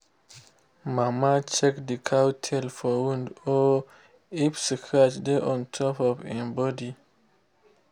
mama check the cow tail for wound or if scratch dey on top of en body